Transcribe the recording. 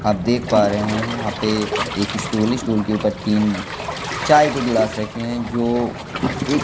आप देख पा रहे हैं यहां पे एक स्टूल है स्टूल के ऊपर तीन चाय के गिलास रखे हैं जो एक--